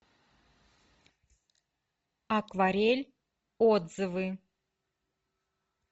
акварель отзывы